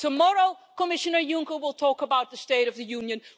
Tomorrow Commissioner Juncker will talk about the State of the Union.